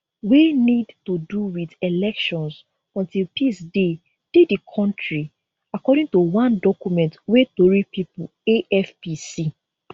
wey need to do wit elections until peace dey dey di kontri according to one document wey tori pipo afp see